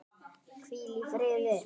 Hvíl í friði.